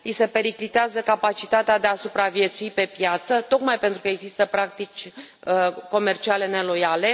Li se periclitează capacitatea de a supraviețui pe piață tocmai pentru că există practici comerciale neloiale.